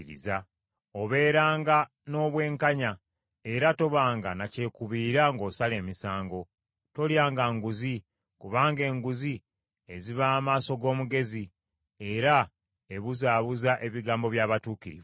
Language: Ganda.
Obeeranga n’obwenkanya, era tobanga na kyekubiira ng’osala emisango. Tolyanga nguzi, kubanga enguzi eziba amaaso g’omugezi era ebuzaabuza ebigambo by’abatuukirivu.